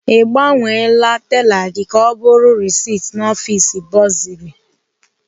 I gbanwela tela gị ka ọ bụrụ risit n'ọfis bọsịrị?